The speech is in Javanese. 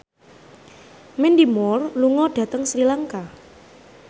Mandy Moore lunga dhateng Sri Lanka